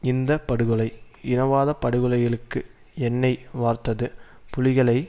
இந்த படுகொலை இனவாத படுகொலைகளுக்கு எண்ணெய் வார்த்தது புலிகளை